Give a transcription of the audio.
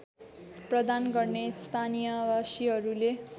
प्रदान गर्ने स्थानीयवासीहरूले